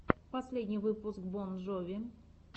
последний выпуск бон джови